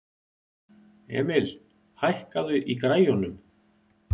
Emil, hækkaðu í græjunum.